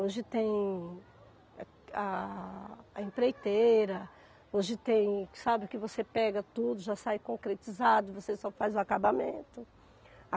Hoje tem a a empreiteira, hoje tem, sabe que você pega tudo, já sai concretizado, você só faz o acabamento.